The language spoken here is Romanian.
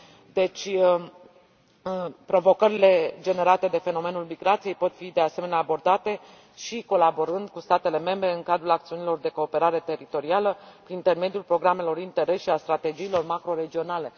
Deci, provocările generate de fenomenul migrației pot fi, de asemenea, abordate și colaborând cu statele membre în cadrul acțiunilor de cooperare teritorială, prin intermediul Programelor Interreg și a strategiilor macroregionale.